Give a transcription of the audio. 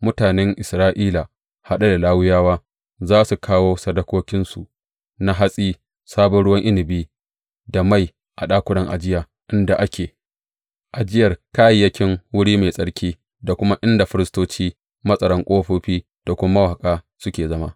Mutanen Isra’ila haɗe da Lawiyawa, za su kawo sadakokinsu na hatsi, sabon ruwan inabi da mai a ɗakunan ajiya inda ake ajiyar kayayyakin wuri mai tsarki da kuma inda firistoci, matsaran ƙofofi da kuma mawaƙa suke zama.